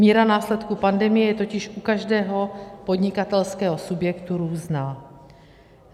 Míra následků pandemie je totiž u každého podnikatelského subjektu různá.